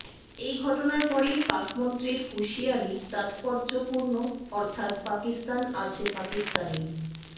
এই ঘটনার পরেই পাক মন্ত্রীর হুঁশিয়ারি তাত্পর্যপূর্ণ অর্থাত্ পাকিস্তান আছে পাকিস্তানেই